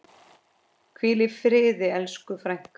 Hvíl í friði elsku frænka.